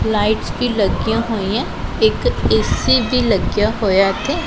Lights ਵੀ ਲੱਗੀਆਂ ਹੋਈਆਂ ਇੱਕ ਏ_ਸੀ ਵੀ ਲੱਗਿਆ ਹੋਇਆ ਇੱਥੇ।